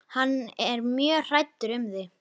Og hann er mjög hræddur um þig.